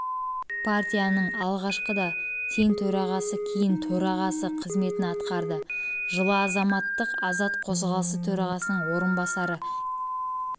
партияның алғашқыда тең төрағасы кейін төрағасы қызметін атқарды жылы азаматтық азат қозғалысы төрағасының орынбасары кеңес